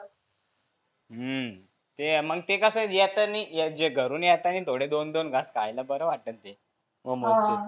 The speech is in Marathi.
हम्म ते मग ते कसं येतानी ये घरुन येतानी थोडे दोन दोन घास खायला बरं वाटतं ते. मोमोजचे.